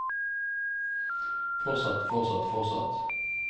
fortsatt fortsatt fortsatt